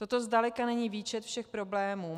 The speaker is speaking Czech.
Toto zdaleka není výčet všech problémů.